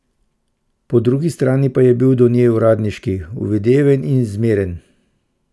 Po drugi strani pa je bil do nje uradniški, uvideven in zmeren.